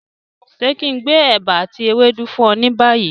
Ṣe kí n gbé ẹ̀bà ati ewédú fún ọ ni bayi?